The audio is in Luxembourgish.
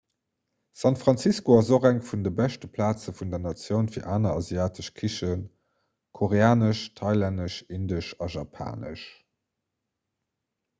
san francisco ass och eng vun de beschte plaze vun der natioun fir aner asiatesch kichen koreanesch thailännesch indesch a japanesch